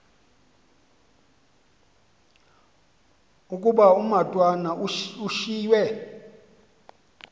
ukuba umatwana ushiywe